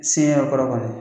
Sen yɛrɛ kɔrɔ kɔnɔ.